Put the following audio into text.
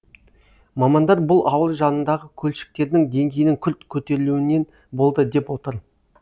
мамандар бұл ауыл жанындағы көлшіктердің деңгейінің күрт көтерілуінен болды деп отыр